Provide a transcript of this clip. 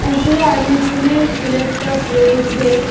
উপরে অনেকগুলি ফুলের টব রয়েছে।